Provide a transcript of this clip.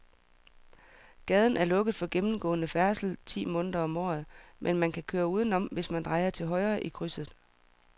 Gaden er lukket for gennemgående færdsel ti måneder om året, men man kan køre udenom, hvis man drejer til højre i krydset.